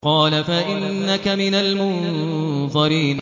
قَالَ فَإِنَّكَ مِنَ الْمُنظَرِينَ